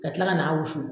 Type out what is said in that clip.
Ka tila ka n'a wusu